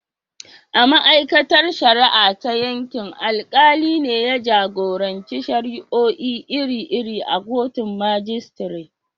A ma’aikatar shari’a ta yankin, alkali ne ya jagoranci shari’o’i iri-iri a kotun majistare.